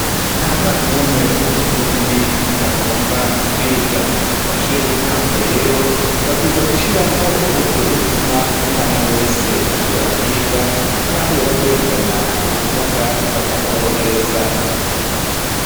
Ntamwana n'umwe w'umurundi atagomba kwiga mu mashuro y'intango rero babwizwa gushiraho uburyo butuma umwana wese ashobora kwiga naho yoba agendana ubumuga bakamworohereza.